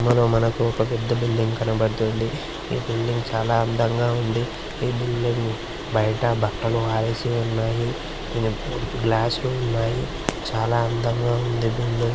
మనో మనకు ఒక పెద్ద బిల్డింగ్ కనబడుతుంది. ఈ బిల్డింగ్ చాలా అందంగా ఉంది. ఈ బిల్డింగ్ బయట బట్టలు ఆరేసి ఉన్నాయి. గ్లాస్ లు ఉన్నాయి. చాలా అందంగా ఉంది బిల్డింగ్.